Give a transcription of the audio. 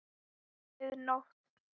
Mið nótt!